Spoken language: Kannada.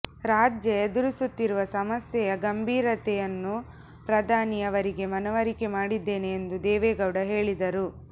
ರಾಜ್ಯ ಎದುರಿಸುತ್ತಿರುವ ಸಮಸ್ಯೆಯ ಗಂಭೀರತೆಯನ್ನು ಪ್ರಧಾನಿ ಅವರಿಗೆ ಮನವರಿಕೆ ಮಾಡಿದ್ದೇನೆ ಎಂದು ದೇವೇಗೌಡ ಹೇಳಿದರು